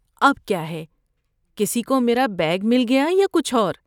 اب کیا ہے؟ کسی کو میری بیگ مل گیا یا کچھ اور؟